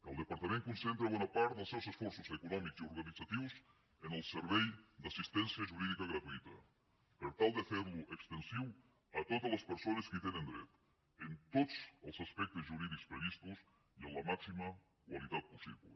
el departament concentra bona part dels seus esforços econòmics i organitzatius en el servei d’assistència jurídica gratuïta per tal de fer lo extensiu a totes les persones que hi tenen dret en tots els aspectes jurídics previstos i amb la màxima qualitat possible